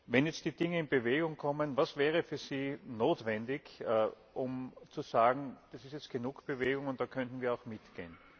Wenn jetzt die Dinge in Bewegung kommen, was wäre für Sie notwendig, um zu sagen, das ist jetzt genug Bewegung, da könnten wir auch mitgehen?